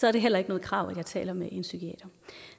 er det heller ikke noget krav at jeg taler med en psykiater